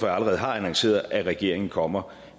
jeg allerede har annonceret at regeringen kommer